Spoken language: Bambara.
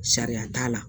Sariya t'a la